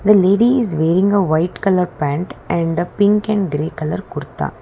The lady is wearing a white colour pant and pink and grey colour kurta.